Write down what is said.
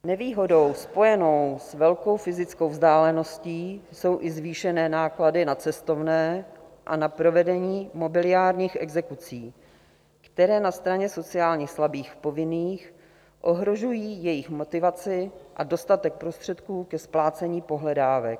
Nevýhodou spojenou s velkou fyzickou vzdáleností jsou i zvýšené náklady na cestovné a na provedení mobiliárních exekucí, které na straně sociálně slabých povinných ohrožují jejich motivaci a dostatek prostředků ke splácení pohledávek.